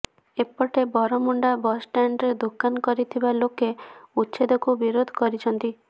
ଏପଟେ ବରମୁଣ୍ଡା ବସ୍ଷ୍ଟାଣ୍ଡରେ ଦୋକାନ କରିଥିବା ଲୋକେ ଉଚ୍ଛେଦକୁ ବିରୋଧ କରିଛନ୍ତି